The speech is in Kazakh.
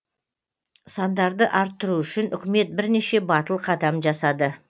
сандарды арттыру үшін үкімет бірнеше батыл қадам жасады